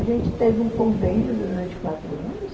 A gente teve um convênio durante quatro anos.